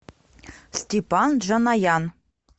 степан джаноян